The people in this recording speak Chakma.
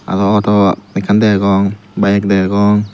aro auto ekkan degong bike degong.